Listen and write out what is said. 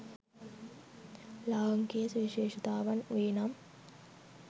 ලාංකීය සුවිශේෂතාවන් වේ නම්